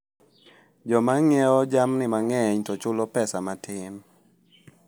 Joma ng'iewo jamni mang'eny to chulo pesa matin.